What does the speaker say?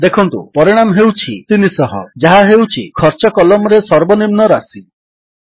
ଦେଖନ୍ତୁ ପରିଣାମ ହେଉଛି 300 ଯାହା ହେଉଛି ଖର୍ଚ୍ଚ କଲମ୍ରେ ସର୍ବନିମ୍ନ ରାଶି